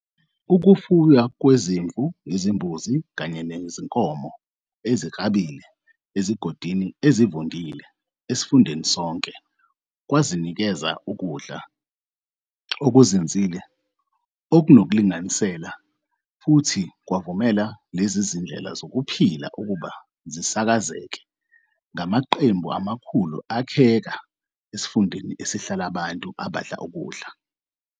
Ukufuywa kwezimvu, izimbuzi kanye nezinkomo eziklabile ezigodini ezivundile esifundeni sonke kwanikeza ukudla okuzinzile, okunokulinganisela, futhi kwavumela lezi zindlela zokuphila ukuba zisakazeke, ngamaqembu amakhulu akheka esifundeni esasihlala abantu abadla ukudla.